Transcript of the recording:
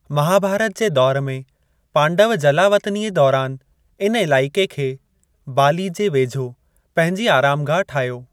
महाभारत जे दौर में, पांडव जलावतनीअ दौरान इन इलाइक़े खे (बाली जे वेझो) पंहिंजी आराम गाह ठाहियो।